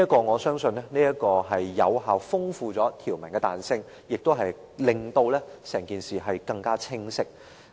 我相信這做法有效豐富條文的彈性，亦令整件事更清晰。